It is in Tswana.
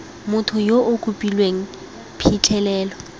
motho yo o kopileng phitlhelelo